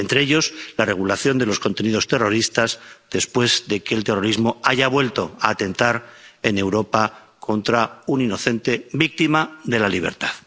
Entre ellos la regulación de los contenidos terroristas después de que el terrorismo haya vuelto a atentar en Europa contra un inocente, víctima de la libertad.